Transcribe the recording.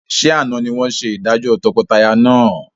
Ṣé àna ni wọn ṣe ìdájọ́ tọkọtaya náà?